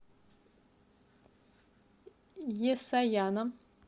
есаяном